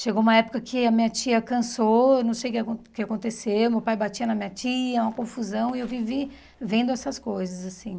Chegou uma época que a minha tia cansou, não sei o que que acon que aconteceu, meu pai batia na minha tia, uma confusão, e eu vivi vendo essas coisas, assim.